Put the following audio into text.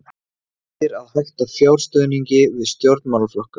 Heitir að hætta fjárstuðningi við stjórnmálaflokka